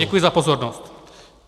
Děkuji za pozornost.